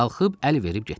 Qalxıb əl verib getdi.